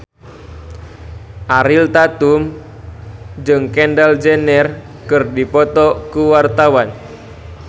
Ariel Tatum jeung Kendall Jenner keur dipoto ku wartawan